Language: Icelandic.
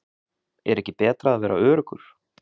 Er ekki betra að vera öruggur?